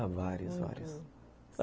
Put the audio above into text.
Ah, várias, várias. Uhum.